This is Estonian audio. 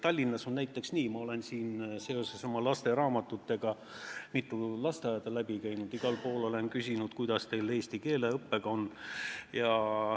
Tallinnas ma olen seoses oma lasteraamatutega mitu lasteaeda läbi käinud ja igal pool olen küsinud, kuidas teil eesti keele õppega on.